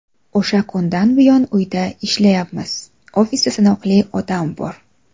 O‘sha kundan buyon uyda ishlayapmiz, ofisda sanoqli odam bor.